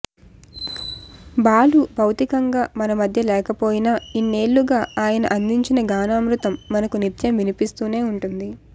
బాలు భౌతికంగా మనమధ్య లేకపోయినా ఇన్నేళ్లుగా ఆయన అందించిన గానామృతం మనకు నిత్యం వినిపిస్తూనే ఉంటుంది